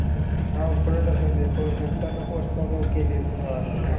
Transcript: हा, पुढे ढकललं. होय. नंतर मग postpone होत गेली म्हणून आलतं ते